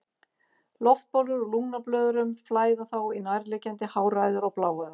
Loftbólur úr lungnablöðrum flæða þá í nærliggjandi háræðar og bláæðar.